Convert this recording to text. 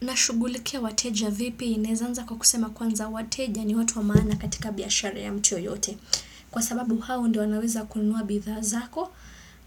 Na shugulikia wateja vipi inawezanza kwa kusema kwanza wateja ni watu wa maana katika biashara ya mu yoyote. Kwa sababu hao ndio wanaweza kununua bidhaa zako